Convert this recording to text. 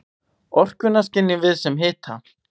Orkuna skynjum við sem hita.